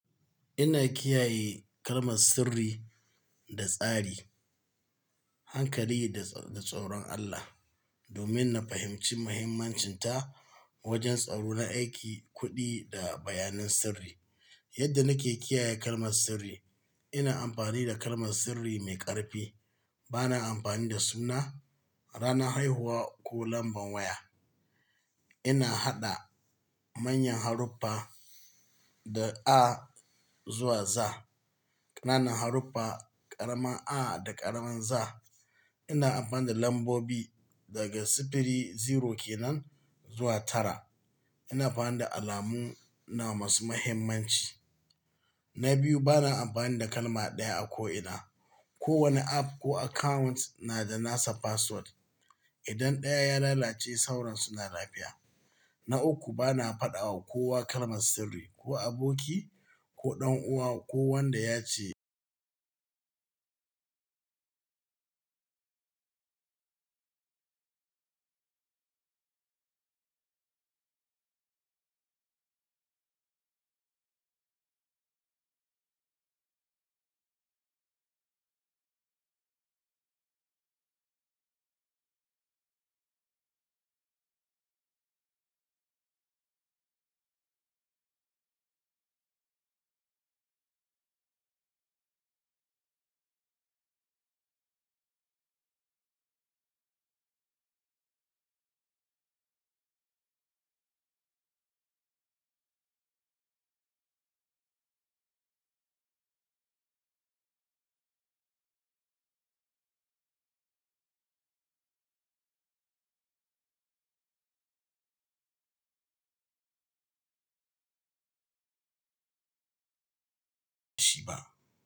Ina kiyaye kalmar sirri da tsari, hankali da, da tsoron Allah, domin na fahimci muhimmancinta wajen tsaro na aiki, kuɗi da bayanan sirri. Yadda nake kiyaye kalmar sirri, ina amfani da kalmar sirri mai ƙarfi. Bana amfani da suna, ranar haihuwa ko lamban waya. Ina haɗa manyan haruffa da A zuwa Z, ƙananan haruffa, ƙaramin a da ƙaramin z. Ina amfani da lambobi daga sifili zero kenan zuwa tara. Ina amfani da alamu na masu muhimmanci. Na biyu, bana amfani da kalma ɗaya a ko ina. Ko wani app ko account na da nasa password. Idan ɗaya ya lalace, sauran suna lafiya. Na uku, bana faɗa wa kowa kalmar sirri, ko aboki ko ɗan'uwa ko wanda ya ce jiba.